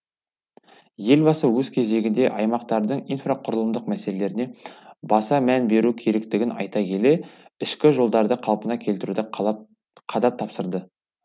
елбасы өз кезегінде аймақтардың инфрақұрылымдық мәселелеріне баса мән беру керектігін айта келе ішкі жолдарды қалпына келтіруді қадап тапсырды